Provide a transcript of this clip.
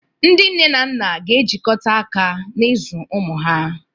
Ndị nne na nna ga-ejikọta aka n'ịzụ ụmụ ha